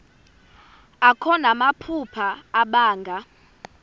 akho namaphupha abanga